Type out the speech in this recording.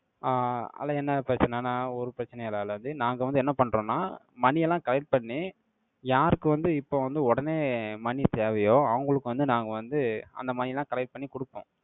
ஆஹ் அதுல என்ன பிரச்சனைன்னா, ஒரு பிரச்சனையும் இல்லைலது. நாங்க வந்து, என்ன பண்றோம்ன்னா, மணி எல்லாம் collect பண்ணி, யாருக்கு வந்து, இப்ப வந்து, உடனே money தேவையோ, அவங்களுக்கு வந்து, நாங்க வந்து, அந்த மணி எல்லாம், collect பண்ணி கொடுப்போம்.